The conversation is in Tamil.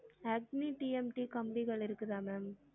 அக்னி TMT கம்பிகள் இருக்குதா ma'am?